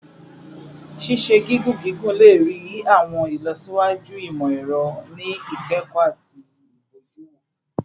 Ṣiṣe gigun gigun le rii awọn ilọsiwaju imọ-ẹrọ ni ikẹkọ ati ibojuwo